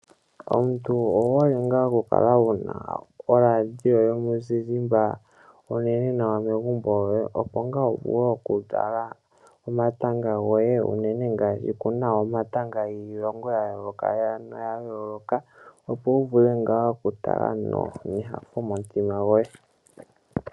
Omuntu owuhole nga okukala wuna oladioyomuzizimba onene nawa megumbo lyoye opo nga wuvule okutala omatanga goye unene ngaashi kuna omatanga giilongo yayooloka opo wuvule okutala nyanyu momutima goye.